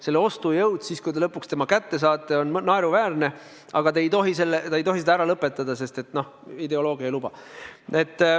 Selle summa ostujõud, kui te lõpuks selle kätte saate, on naeruväärne, aga te ei tohi seda kogumist ära lõpetada, sest ideoloogia ei luba.